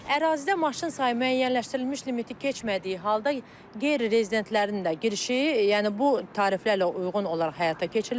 Ərazidə maşın sayı müəyyənləşdirilmiş limiti keçmədiyi halda qeyri-rezidentlərin də girişi, yəni bu tariflərlə uyğun olaraq həyata keçiriləcək.